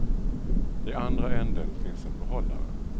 I andra änden finns en behållare.